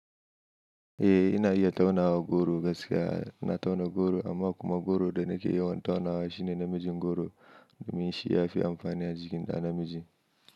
Eh ina iya taunawa goro gaskiya ina tauna goro amma kuma goro da nake yawan taunawa shine namijin goro domin shi ya fi amfani a jikin ɗa namiji.